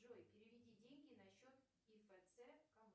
джой переведи деньги на счет и фэ цэ